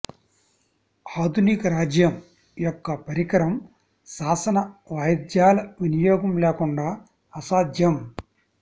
ఆధునిక రాజ్యం యొక్క పరికరం శాసన వాయిద్యాల వినియోగం లేకుండా అసాధ్యం